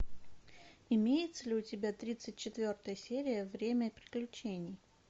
имеется ли у тебя тридцать четвертая серия время приключений